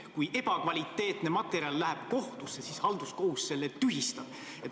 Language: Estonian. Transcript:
Kui kohtusse läheb ebakvaliteetne materjal, siis halduskohus selle tühistab.